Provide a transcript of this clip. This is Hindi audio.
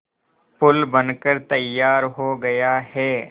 पुल बनकर तैयार हो गया है